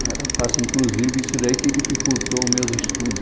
Não era fácil, inclusive, isso daí que dificultou meus estudos.